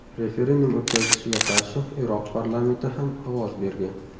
Referendum o‘tkazilishiga qarshi Iroq parlamenti ham ovoz bergan.